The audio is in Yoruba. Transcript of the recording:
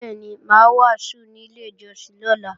Bẹ́ẹ̀ni, mà á wàásù ní ilé ìjọsìn lọ́la